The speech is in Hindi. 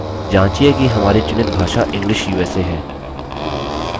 जाँचिये कि हमारी चुनित भाषा english usa है